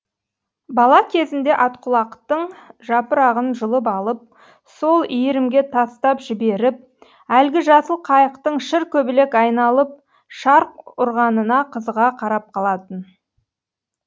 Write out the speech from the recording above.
бала кезінде атқұлақтың жапырағын жұлып алып сол иірімге тастап жіберіп әлгі жасыл қайықтың шыр көбелек айналып шарқ ұрғанына қызыға қарап қалатын